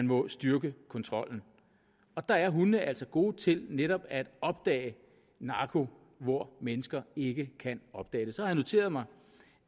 må styrke kontrollen og der er hundene altså gode til netop at opdage narko hvor mennesker ikke kan opdage det så har jeg noteret mig